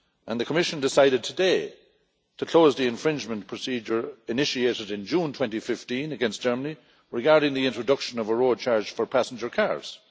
The Commission decided today to close the infringement procedure initiated in June 2015 against Germany regarding the introduction of a road charge for passenger cars.